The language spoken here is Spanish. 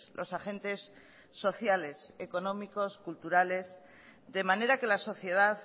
los agentes sociales económicos culturales de manera que la sociedad